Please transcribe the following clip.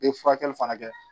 Bɛ furakɛli fana kɛ